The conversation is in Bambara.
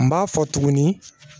N b'a fɔ tuguni